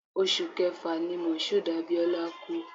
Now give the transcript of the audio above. Oṣù Kẹfà ni Moshood Abiola kú